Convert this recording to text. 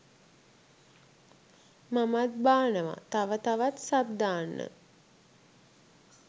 මමත් බානව තව තවත් සබ් දාන්න